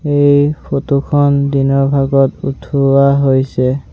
এই ফটোখন দিনৰ ভাগত উঠোৱা হৈছে।